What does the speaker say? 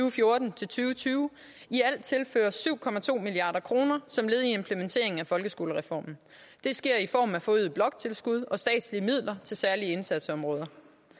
og fjorten til tyve tyve i alt tilføres syv milliard kroner som led i implementeringen af folkeskolereformen det sker i form af forøget bloktilskud og statslige midler til særlige indsatsområder